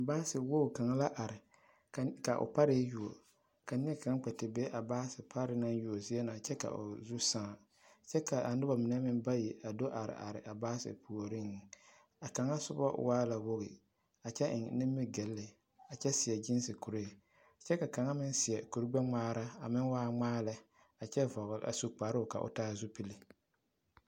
Baase woɡi kaŋ la are ka o pare yuo ka neɛ kaŋ kpɛ te be a baase pare zie na naŋ yuo kyɛ ka o zu sãã kyɛ ka a noba mine meŋ bayi a do te areare a baase puoriŋ a kaŋa soba waa la woɡi a kyɛ eŋe nimiɡyili kyɛ seɛ ɡeese kuree kyɛ kaŋa meŋ seɛ kurɡbɛŋmaara a meŋ waa ŋmaa lɛ kyɛ vɔɔle a su kparoo ka o taa zupili.